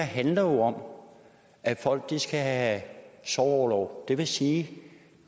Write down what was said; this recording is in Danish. handler om at folk skal have sorgorlov det vil sige at